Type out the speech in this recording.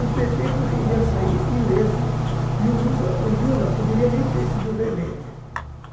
O pê tê poderia sair ileso e o Lusa, o Lula poderia nem ter sido reeleito, gente.